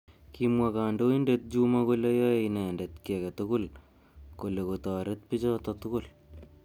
Kimwa kandoindet Juma kole yoei inendet ki age tugul kole kotoret bichotok tugul.